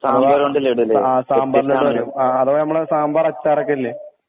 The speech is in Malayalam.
അപ്പൊ ആ സാമ്പാറോണ്ട് ലഡു ആ അഥവാ നമ്മളെ സാമ്പാറച്ചാറൊക്കെല്ലെ